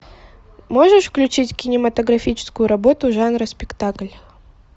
можешь включить кинематографическую работу жанра спектакль